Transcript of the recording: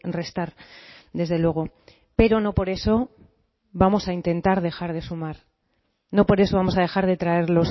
restar desde luego pero no por eso vamos a intentar dejar de sumar no por eso vamos a dejar de traer